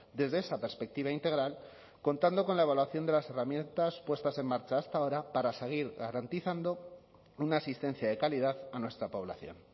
desde esa perspectiva integral contando con la evaluación de las herramientas puestas en marcha hasta ahora para seguir garantizando una asistencia de calidad a nuestra población